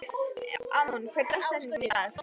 Amon, hver er dagsetningin í dag?